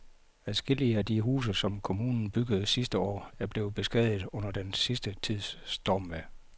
Adskillige af de huse, som kommunen byggede sidste år, er blevet beskadiget under den sidste tids stormvejr.